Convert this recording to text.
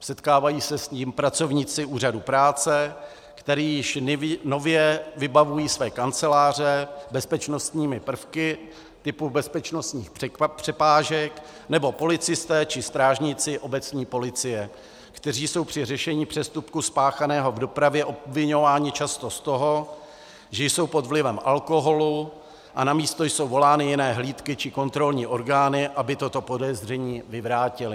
setkávají se s tím pracovníci úřadu práce, kteří již nově vybavují své kanceláře bezpečnostními prvky typu bezpečnostních přepážek, nebo policisté či strážníci obecní policie, kteří jsou při řešení přestupku spáchaného v dopravě obviňováni často z toho, že jsou pod vlivem alkoholu, a na místo jsou volány jiné hlídky či kontrolní orgány, aby toto podezření vyvrátily.